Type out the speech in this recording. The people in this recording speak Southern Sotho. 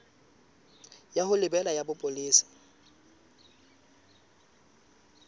ya ho lebela ya bopolesa